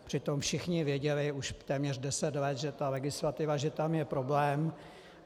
Přitom všichni věděli už téměř deset let, že ta legislativa - že tam je problém.